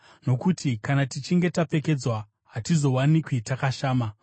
nokuti kana tichinge tapfekedzwa, hatizowanikwi takashama.